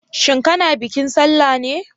Shin kana bikin sallah ne?